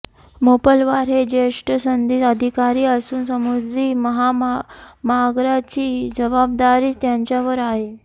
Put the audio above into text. मोपलवार हे ज्येष्ठ सनदी अधिकारी असून समृद्धी महामार्गाची जबाबदारी त्यांच्यावर आहे